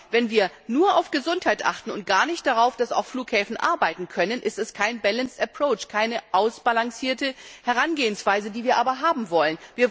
Wenn wir aber nur auf Gesundheit achten und gar nicht darauf, dass Flughäfen auch arbeiten können, ist es kein Balanced Approach keine ausgewogene Herangehensweise, die wir aber haben wollen.